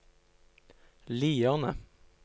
Lierne